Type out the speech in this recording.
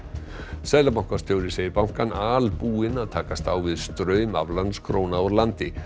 seðlabankastjóri segir bankann albúinn að takast á við straum aflandskróna úr landi